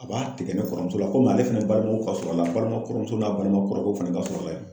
A b'a tigɛ ne kɔrɔmuso la komi ale fɛnɛ babugu ka sur'an na balima kɔrɔmuso n'a balima kɔrɔrɔkɛw fɛnɛ ka sur'a la yan.